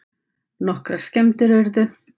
Nokkrar skemmdir urðu